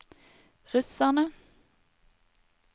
russerne